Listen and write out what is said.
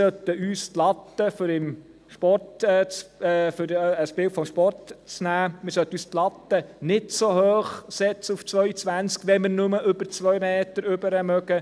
Wir sollten uns die Latte – um ein Bild aus dem Sport zu nehmen – nicht so hoch setzen, auf 2,20 Meter, wenn wir nur über 2 Meter springen können.